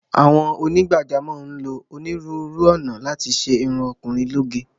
Àwọn onígbàjámọ̀ ń lo onírúurú ọ̀nà láti ṣe irun ọkùnrin lóge.